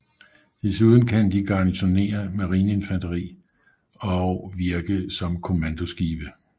Desuden kan de garnisonere marineinfanteri og virke som kommandoskibe